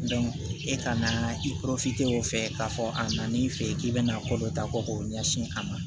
e ka na o fɛ k'a fɔ a nan'i fɛ yen k'i bɛna ko dɔ ta ko k'o ɲɛsin a ma